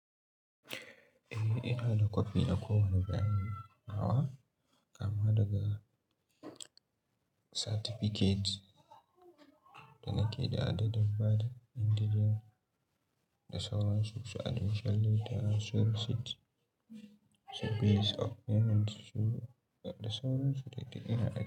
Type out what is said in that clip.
Eh, ina da copy na kowane zahiri. Nawa? Kama daga certificate da nake da adaɗaɗɗan bada indijel da sauransu su admission letter, result sheet, su pays of payment su da sauransu da ina aiki.